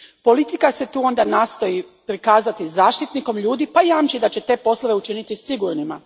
Politika se tu onda nastoji prikazati zaštitnikom ljudi pa jamči da će te poslove učiniti sigurnima.